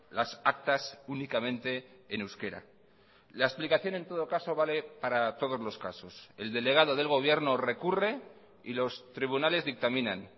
las actas únicamente en euskera la explicación en todo caso vale para todos los casos el delegado del gobierno recurre y los tribunales dictaminan